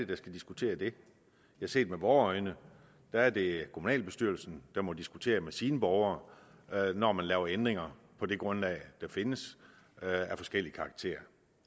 der skal diskutere det ja set med vore øjne er det kommunalbestyrelsen der må diskutere med sine borgere når man laver ændringer på det grundlag der findes af forskellig karakter